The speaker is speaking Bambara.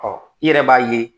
Ɔ i yɛrɛ b'a ye